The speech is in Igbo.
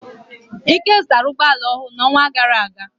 Ike zụtara ụgbọ ala ọhụrụ n'ọnwa gara aga.